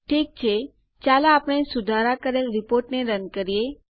ઠીક છે ચાલો આપણે સુધારાં કરેલ રીપોર્ટને રન કરીએ